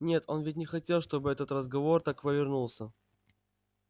нет он ведь не хотел чтобы этот разговор так повернулся